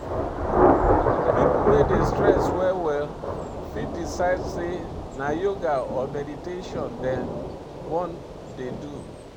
pipo wey dey stress well well fit decide sey na yoga or meditation dem wan dey do